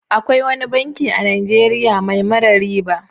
Akwai wani banki a Najeriya mai mara riba.